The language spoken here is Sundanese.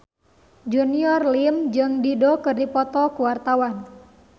Junior Liem jeung Dido keur dipoto ku wartawan